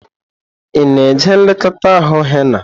Ị na-eji nlekọta ahụ henna?